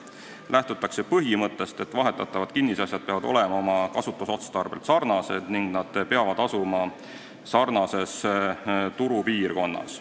Lähtutakse põhimõttest, et vahetatavad kinnisasjad peavad olema kasutusotstarbelt sarnased ning asuma sarnases turupiirkonnas.